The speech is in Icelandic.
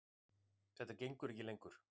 Þetta gengur ekki lengur.